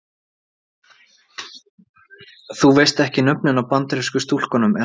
Þú veist ekki nöfnin á Bandarísku stúlkunum er það?